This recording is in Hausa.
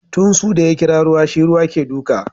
Tunsu da ya kira ruwa shi ruwa ke duka.